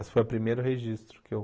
Esse foi o primeiro registro que eu...